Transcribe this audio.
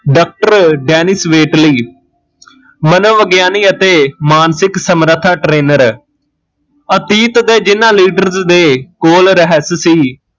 doctor Dennis Waitley ਮਨੋਵਿਗਿਆਨੀ ਅਤੇ ਮਾਨਸਿਕ ਸਮਰੱਥਾ trainer ਅਤੀਤ ਦੇ ਜਿਹਨਾਂ leaders ਦੇ ਕੋਲ ਰਹੱਸ ਸੀ